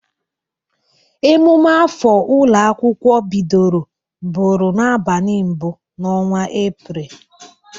Emume afọ ụlọ akwụkwọ bidoro bụrụ n'abali mbụ n'ọnwa Epreel.